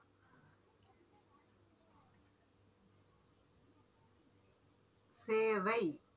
சேவை